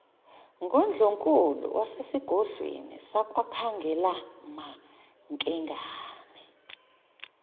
ngundlunkulu wasesigodlweni sakwakhangelamankengane